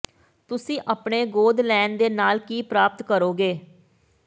ਤੁਸੀਂ ਆਪਣੇ ਗੋਦ ਲੈਣ ਦੇ ਨਾਲ ਕੀ ਪ੍ਰਾਪਤ ਕਰੋਗੇ